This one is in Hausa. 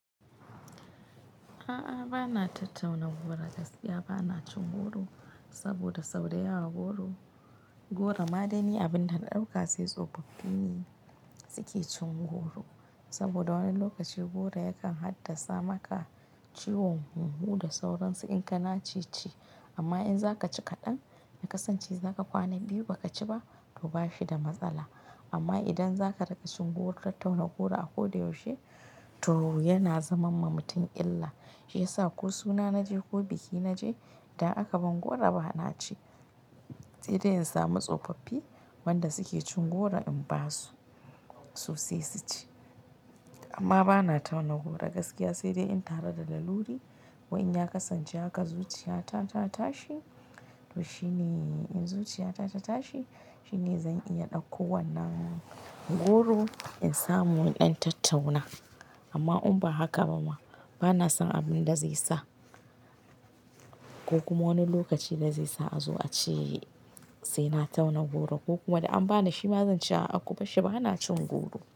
A'a bana tattauna goro gaskiya bana cin goro saboda sau da yawa goro madaini abin da na ɗauka sai tsofaffi ne suke cin goro saboda wani lokaci goro yakan haddasa maka ciwon hunhu da sauransu in kana ce chi amma in zaka ci kaɗan ya kasance zaka kwana biyu baka ci ba to bashi da matsala amma idan zaka riƙa cin goro tattauna goro a koda yaushe to yana zaman ma mutum illa. Shiyasa ko suna naje ko biki naje da aka bani goro bana ci sai dai in samu tsofaffi wanda suke cin goro in basu su sai su ci amma bana tauna goro gaskiya sai dai in tare da laluri ko in ya kasance haka zuciyata ta tashi to shine in zuciyata ta tashi shine zan iya ɗauko wannan goro in samu in ɗan tattauna amma in ba haka ba ma bana son abin da zai sa ko kuma wani lokaci da zai sa a zo a ce sai na tauna goro ko kuma da an bani shi ma zan ce a'akubar shi bana cin goro.